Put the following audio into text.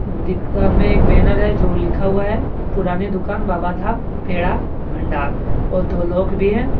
दीकान में एक बैनर है जो लिखा हुआ है पुरानी दुकान बाबा धाम पेड़ा भंडार और दो लोग भी है।